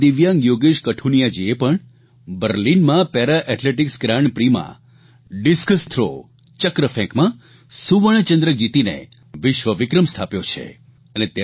વધુ એક દિવ્યાંગ યોગેશ કઠુનિયાજીએ પણ બર્લિનમાં પેરા એથ્લેટીકસ ગ્રાન્ડ પ્રી માં ડિસ્કસ થ્રોચક્રફેંકમાં સુવર્ણચંદ્રક જીતીને વિશ્વવિક્રમ સ્થાપ્યો છે